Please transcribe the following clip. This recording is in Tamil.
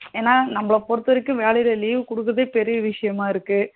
ஏன்னா நாமளா பொறுத்த வரைக்கும் வேலையில leave குடுக்குறதே பெரியா விசியாம இருக்கு